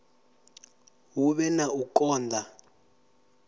hu vhe na u konda